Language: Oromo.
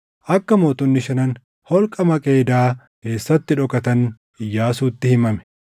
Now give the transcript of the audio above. Akka mootonni shanan holqa Maqeedaa keessatti dhokatan Iyyaasuutti himame;